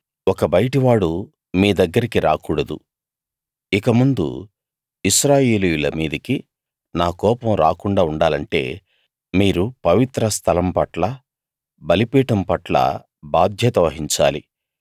ఒక బయటి వాడు మీ దగ్గరికి రాకూడదు ఇకముందు ఇశ్రాయేలీయుల మీదకి నా కోపం రాకుండా ఉండాలంటే మీరు పవిత్రస్థలం పట్ల బలిపీఠం పట్ల బాధ్యత వహించాలి